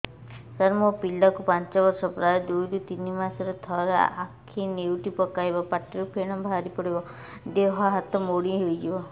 ସାର ମୋ ପିଲା କୁ ପାଞ୍ଚ ବର୍ଷ ପ୍ରାୟ ଦୁଇରୁ ତିନି ମାସ ରେ ଥରେ ଆଖି ନେଉଟି ପକାଇବ ପାଟିରୁ ଫେଣ ବାହାରିବ ଦେହ ହାତ ମୋଡି ନେଇଯିବ